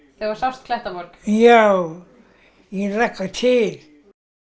þegar þú sást Klettaborg já ég hlakka til